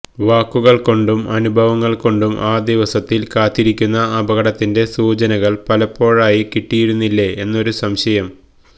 വാക്കുകൾ കൊണ്ടും അനുഭവങ്ങൾ കൊണ്ടും ആ ദിവസത്തിൽ കാത്തിരിക്കുന്ന അപകടത്തിന്റെ സൂചനകൾ പലപ്പോഴായി കിട്ടിയിരുന്നില്ലേ എന്നൊരു സംശയം